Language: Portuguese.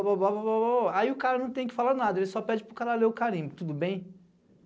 Aí o cara não tem que falar nada, ele só pede para o cara ler o carimbo, tudo bem?